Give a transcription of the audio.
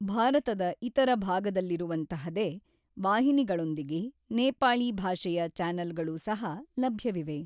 ಭಾರತದ ಇತರ ಭಾಗದಲ್ಲಿರುವಂಥಹದೇ ವಾಹಿನಿಗಳೊಂದಿಗೆ ,ನೇಪಾಳಿ ಭಾಷೆಯ ಚಾನೆಲ್ಗಳು ಸಹ ಲಭ್ಯವಿವೆ